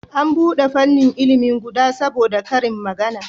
An bude fannin ilimi guda saboda karin magana